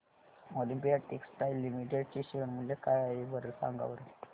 Olympia textiles limited चे share मूल्य काय आहे सांगा बरं